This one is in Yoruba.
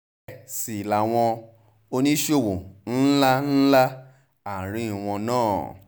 bẹ́ẹ̀ sì làwọn oníṣòwò ńlá ńlá àárín wọn náà